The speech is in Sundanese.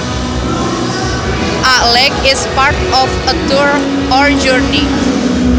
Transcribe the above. A leg is part of a tour or journey